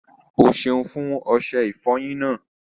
Ọ́ sẹun fún ọṣẹ̀ ìfọ́yín náà.